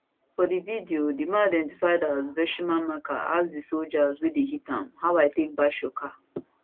for di video di man identified as vershima mker ask di soldiers wey dey hit am how i take bash your car